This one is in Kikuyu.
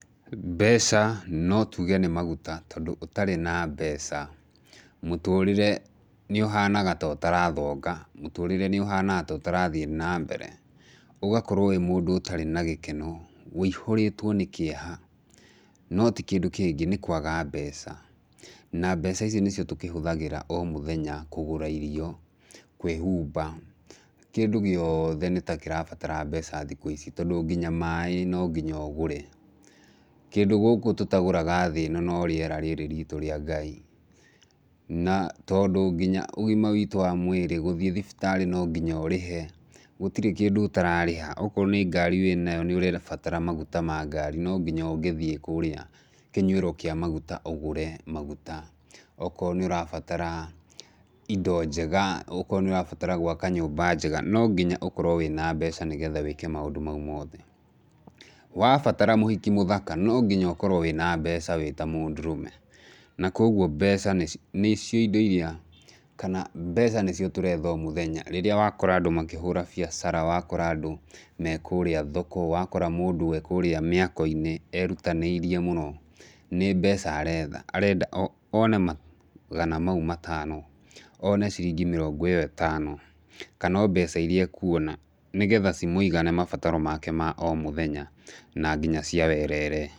Mbeca, no tuge nĩ maguta tondũ ũtarĩ na mbeca, mũtũrĩre nĩũhanaga ta ũtarathoga, mũtũrĩre nĩũhanaga ta ũtarathiĩ nambere. Ũgakorwo wĩ mũndũ ũtarĩ na gĩkeno, ũihũrĩtwo nĩ kĩeha, no ti kindũ kĩngĩ, nĩ kwaga mbeca. na mbeca ici nĩcio tũkĩhũthagĩra o mĩthenya kũgũra irio, kwĩhumba, kĩndũ gĩothe, nĩta kĩrabatara mbeca thikũ ici, tondũ nginya maĩ, no nginya ũgũre. Kĩndũ gũkũ tũtagũraga thĩ ĩno no rĩera rĩrĩ ritũ rĩa Ngai. Na tondũ nginya ũgima witũ wa mwĩrĩ gũthiĩ thibitarĩ nonginya ũrĩhe, gũtirĩ kĩndũ ũtararĩha. Okorwo nĩ ngari wĩnayo, nĩũrabatara maguta ma ngari, no nginya ũngĩthiĩ kũrĩa kĩnyuĩro kĩa maguta ũgũre maguta, okorwo nĩũrabatara indo njega, okorwo nĩũrabatara gwaka nyũmba njega, no nginya ũkorwo wĩna mbeca nĩgetha wĩke maũndũ mau mothe. Wabatara mũhiki mũthaka, no nginya ũkorwo wĩna mbeca wĩta mũndũrũme, na koguo mbeca nĩci nĩcio indo iria, kana mbeca nĩcio tũretha o mũtheya, rĩrĩa wakora andũ makĩhũra bĩacara, wakora andũ me kũrĩa hoko, wakora mũndũ e kũrĩa mĩakoinĩ erutanĩirie mũno, nĩ mbeca aretha, arenda o one magana mau matano, one ciringi mĩrongo ĩyo ĩtano, kana o mbeca iria ekuona, nĩgetha cimũigane mabataro make ma o mũthenya, na nginya cia werere.